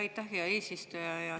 Aitäh, hea eesistuja!